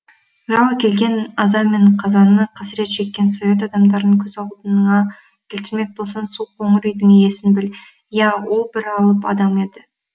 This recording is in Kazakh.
жау әкелген аза мен қазаны қасірет шеккен совет адамдарын көз алдыңа келтірмек болсаң сол қоңыр үйдің иесін біл иә ол бір алып адам еді